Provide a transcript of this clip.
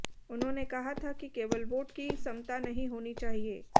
उन्होंने कहा था कि केवल वोट की समता नहीं होनी चाहिए